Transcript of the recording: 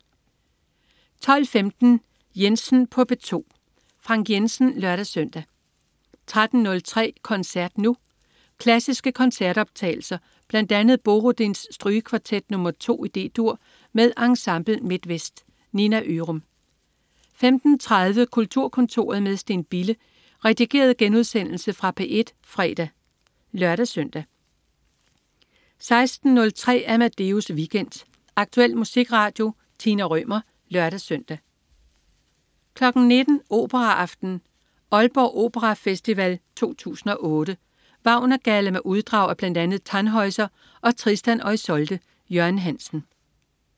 12.15 Jensen på P2. Frank Jensen (lør-søn) 13.03 Koncert Nu. Klassiske koncertoptagelser. Bl.a. Borodins Strygekvartet nr 2 D-dur, med Ensemble Midtvest. Nina Ørum 15.30 Kulturkontoret med Steen Bille. Redigeret genudsendelse fra P1 fredag (lør-søn) 16.03 Amadeus Weekend. Aktuel musikradio. Tina Rømer (lør-søn) 19.00 Operaaften. Aalborg Operafestival 2008. Wagner-galla med uddrag af bl.a. Tannhäuser og Tristan og Isolde. Jørgen Hansen